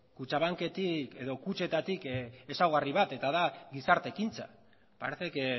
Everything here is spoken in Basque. kutxabanketik edo kutxetatik ezaugarri bat eta da gizarte ekintza parece que